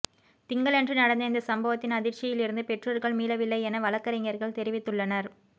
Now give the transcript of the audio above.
திங்களன்று நடந்த இந்த சம்பவத்தின் அதிர்ச்சியிலிருந்து பெற்றோர்கள் மீளவில்லை என வழக்கறிஞர்கள் தெரிவித்துள்ளனர்